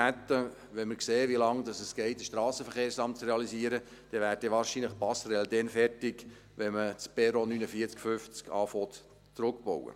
Wenn wir sehen, wie lange es geht, das Strassenverkehrsamt zu realisieren, wird die Passerelle mit Glück wahrscheinlich dann fertig, wenn man beginnt, das Perron 49/50 zurückzubauen.